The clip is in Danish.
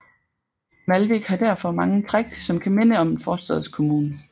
Malvik har derfor mange træk som kan minde om en forstadskommune